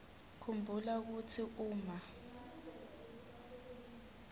khumbula kutsi uma